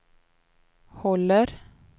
håller